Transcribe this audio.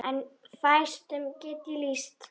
En fæstum get ég lýst.